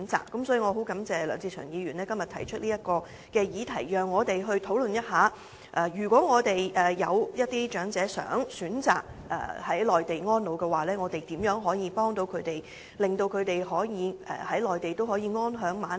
因此，我十分感謝梁志祥議員今天提出這項議案，讓我們討論一下，如有長者想選擇在內地安老，我們可如何協助他們，以令他們可以在內地安享晚年。